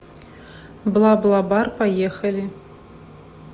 бла бла бар поехали